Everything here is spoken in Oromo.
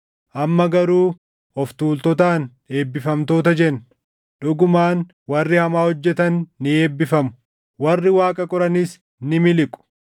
Amma garuu of tuultotaan eebbifamtoota jenna. Dhugumaan warri hamaa hojjetan ni eebbifamu; warri Waaqa qoranis ni miliqu.’ ”